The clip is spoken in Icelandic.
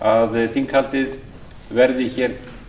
að þinghaldið verði hér